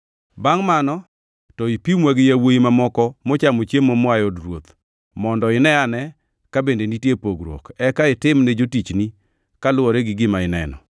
Bangʼ mano to ipimwa gi yawuowi mamoko machamo chiemo moa e od ruoth mondo ineane ka bende nitie pogruok, eka itim ne jotichni kaluwore gi gima ineno.”